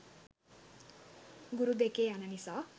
ගුරු දෙකේ යන නිසා